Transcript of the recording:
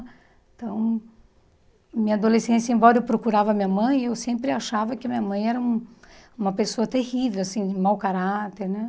Então, minha adolescência, embora eu procurava minha mãe, eu sempre achava que minha mãe era uma pessoa terrível, assim, de mau caráter, né?